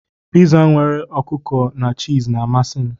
Piza nwere anụ ọkụkọ na chììz na-amasị m.